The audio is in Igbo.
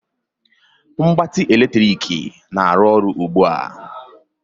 Mgbatị eletrik na-arụ ọrụ ugbu a?